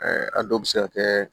a dɔw bɛ se ka kɛ